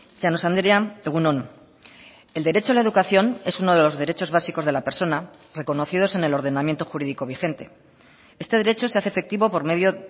llanos andrea egun on el derecho a la educación es uno de los derechos básicos de la persona reconocidos en el ordenamiento jurídico vigente este derecho se hace efectivo por medio